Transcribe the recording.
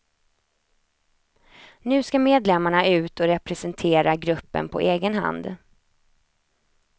Nu ska medlemmarna ut och representera gruppen på egen hand.